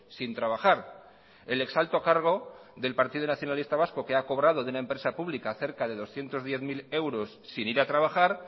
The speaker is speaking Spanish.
sin trabajar el ex alto cargo del partido nacionalista vasco que ha cobrado de una empresa pública cerca de doscientos diez mil euros sin ir a trabajar